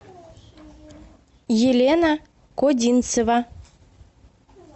елена кодинцева